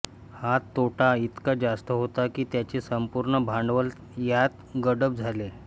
हा तोटा इतका जास्त होता की त्यांचे संपूर्ण भांडवल त्यात गडप झाले